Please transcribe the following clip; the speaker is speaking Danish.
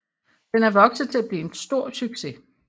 Den er vokset til at blive en stor succes